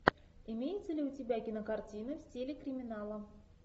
имеется ли у тебя кинокартина в стиле криминала